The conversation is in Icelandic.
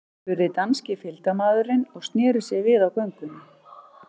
spurði danski fylgdarmaðurinn og sneri sér við á göngunni.